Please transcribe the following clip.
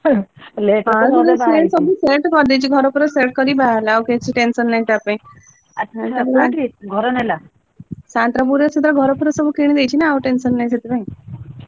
ନାଇ ମ ସେସବୁ set କରିଦେଇଛି, ଘର ଫର set କରି ବାହା ହେଲା ଆଉ କିଛି tension ନାହିଁ ତା ପାଇଁ। ସାଆନ୍ତରାୟପୁରରେ ସେ ତାର ଘର ଫର ସବୁ କିଣି ଦେଇଛି ନା, ଆଉ tension ନାହିଁ ସେଥିପାଇଁ।